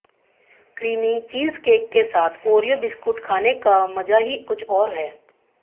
creamy cheesecake के साथ Oreo biscuit खाने का मजा ही कुछ और है